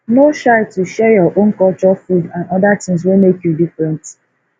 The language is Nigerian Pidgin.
no shy to share your own culture food and and oda things wey make you different